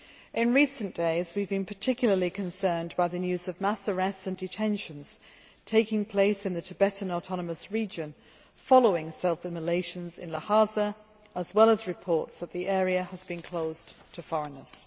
In recent days, we have been particularly concerned by the news of mass arrests and detentions taking place in the Tibetan Autonomous Region following self immolations in Lhasa, as well as reports that the area has been closed to foreigners.